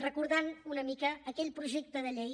recordant una mica aquell projecte de llei